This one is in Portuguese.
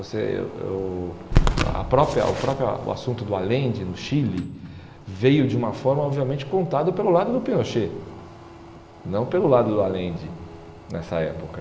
Você o a própria o própria o assunto do Allende no Chile veio de uma forma obviamente contada pelo lado do Pinochet, não pelo lado do Allende nessa época.